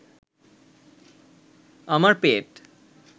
আমার পেট